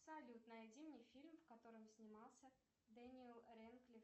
салют найди мне фильм в котором снимался дэниел рэдклифф